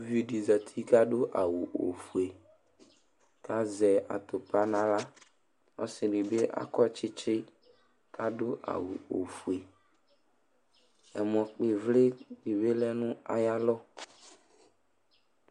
Uvi dɩ zati kʋ adʋ awʋ ofue kʋ azɛ atʋpa nʋ aɣla Ɔsɩ dɩ bɩ akɔ tsɩtsɩ kʋ adʋ awʋ ofue Ɛmɔ kpɔ ɩvlɩ bɩ lɛ nʋ ayalɔ